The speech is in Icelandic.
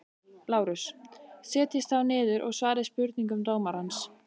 LÁRUS: Setjist þá niður og svarið spurningum dómarans.